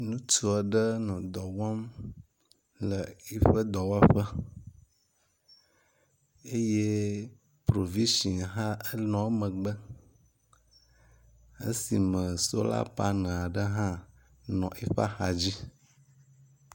Nutsu aɖe nɔ dɔwɔm le eƒe dɔwɔƒe eyɛ provision hã nɔ emegbe esime solar panel aɖe hã nɔ eƒeaxadzi